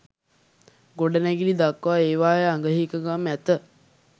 ගොඩනැගිලි දක්වා ඒවායේ අග හිඟකම් ඇත.